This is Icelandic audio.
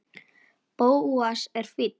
Bóas er fínn.